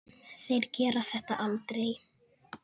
Þeir gera þetta aldrei.